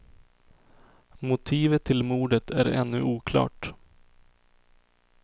Motivet till mordet är ännu oklart.